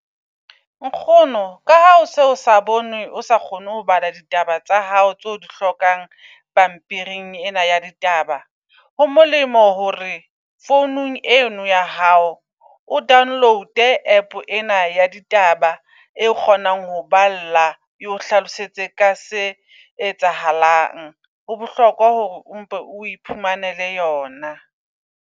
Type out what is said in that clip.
Nkgono ka ha ose o sa bone, o sa kgone ho bala ditaba tsa hao tso di hlokang pampiring ena ya ditaba. Ho molemo hore founung eno ya hao o download-e app ena ya ditaba e kgonang ho balla. E o hlalosetse ka se etsahalang, ho bohlokwa hore o mpe o iphumanele yona.